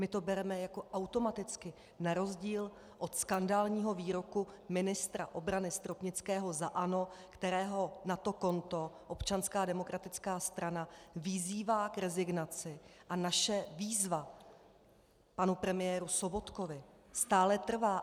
My to bereme jako automaticky na rozdíl od skandálního výroku ministra obrany Stropnického za ANO, kterého na to konto Občanská demokratická strana vyzývá k rezignaci, a naše výzva panu premiéru Sobotkovi stále trvá.